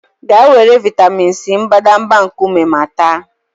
Gaa were vịatamin C mbadamba nkume ma ta!